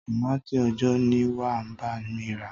Tòmátì òòjó ni wà á bá mi rà.